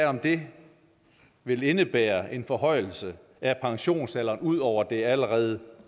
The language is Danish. om det vil indebære en forhøjelse af pensionsalderen ud over det allerede